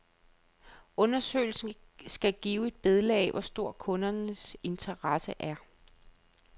Undersøgelsen skal give et billede af, hvor stor kundernes interesse er.